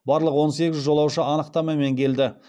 барлық он сегіз жолаушы анықтамамен келді